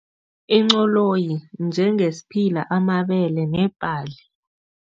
Incoloyi, njengesiphila, amabele nebhali.